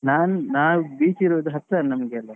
ನಾನ್ ನಾವ್ beach ಇರುದು ಹತ್ರ ನಮ್ಗೆ ಅಲ್ಲಿ